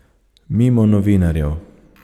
Mimo novinarjev.